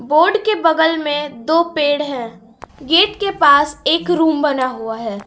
Board के बगल में दो पेड़ हैं गेट के पास एक रूम बना हुआ है।